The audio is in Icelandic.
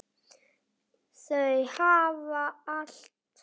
Þau hafa allt.